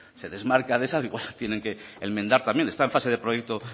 usted se desmarca de esa digo tienen que enmendar también está en fase de proyecto